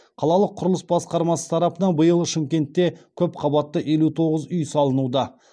қалалық құрылыс басқармасы тарапынан биыл шымкентте көп қабатты елу тоғыз үй салынуда